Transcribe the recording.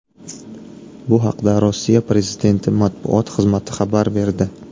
Bu haqda Rossiya prezidenti matbuot xizmati xabar berdi .